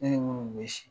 Ne ni minnu bɛ si